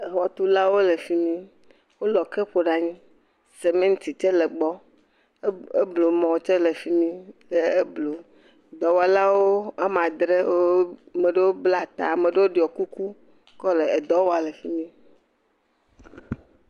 Exɔtulawo le fi mi wolɔ ke ƒo ɖe anyi, seminti tse le eblumɔ tse le fi mi le eblum, dɔwɔlawo woame andre wo..ame ɖewo bla ta ame ɖewo ɖɔ kuku kɔ le edɔ wam le fi mi